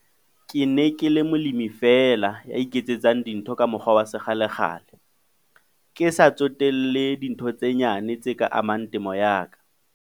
Ke ne ke le molemi feela ya iketsetsang dintho ka mokgwa wa sekgalekgale, ke sa tsotelle dintho tse nyane tse ka amang temo ya ka.